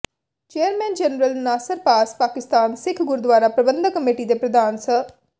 chairman general Nasir ਪਾਸ Pakistan Sikh Gurdwara Prabandhak committee ਦੇ ਪ੍ਰਧਾਨ ਸ